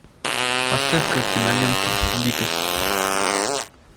поставь ка киноленту дикость